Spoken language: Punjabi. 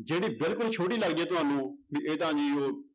ਜਿਹੜੀ ਬਿਲਕੁਲ ਛੋਟੀ ਲੱਗਦੀ ਹੈ ਤੁਹਾਨੂੰ ਵੀ ਇਹ ਤਾਂ